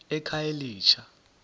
ekhayelitsha